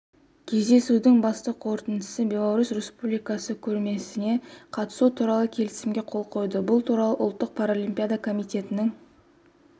кездесудің басты қорытындысы беларусь республикасы көрмесіне қатысу туралы келісімге қол қойды бұл туралы ұлттық паралимпиада комитетінің